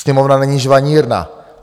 Sněmovna není žvanírna.